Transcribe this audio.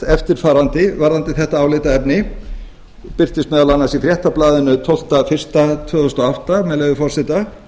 eftirfarandi varðandi þetta álitaefni og birtist meðal annars í fréttablaðinu tólfta janúar tvö þúsund og átta með leyfi forseta